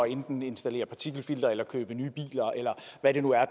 enten at installere partikelfiltre købe nye biler eller hvad det nu er